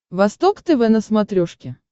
восток тв на смотрешке